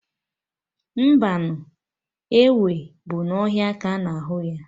Mbanụ, enwe bụ na ọhịa ka ana ahụ ya